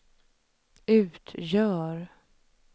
utgör